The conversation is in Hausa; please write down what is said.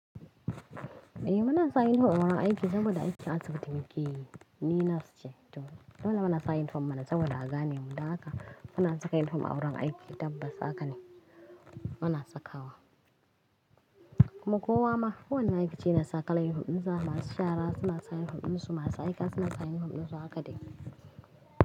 Eh muna sa uniform a wurin aiki saboda aiki asibiti mu ke yi, ni nas ce to. Dole muna sa uniform mana saboda a gane mu da haka. Muna saka uniform a wurin aiki tabbas haka ne muna sakawa. Kuma kowa ma, kowoni ma'aikaci yana saka kayan uniform dinsa masu shara suna sa uniform dinsu masu aika suna sa uniform ɗiansu haka dai.